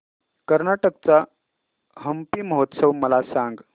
कर्नाटक चा हम्पी महोत्सव मला सांग